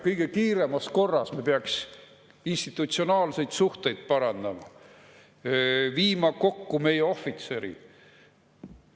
Kõige kiiremas korras me peaks institutsionaalseid suhteid parandama, viima kokku meie ohvitserid.